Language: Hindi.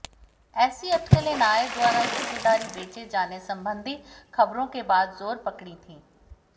ऐसी अटकलें नायर द्वारा हिस्सेदारी बेचे जाने संबंधी खबरों के बाद जोर पकड़ी थीं